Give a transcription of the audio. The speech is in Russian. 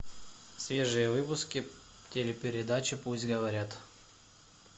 свежие выпуски телепередачи пусть говорят